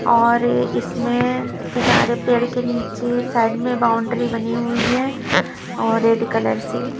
और इसमें कि पेड़ के नीचे साइड में बाउंड्री बनी हुई है और रेड कलर से--